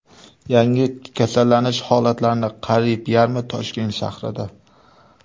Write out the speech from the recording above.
Yangi kasallanish holatlarning qariyb yarmi Toshkent shahrida.